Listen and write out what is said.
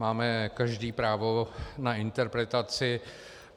Máme každý právo na interpretaci.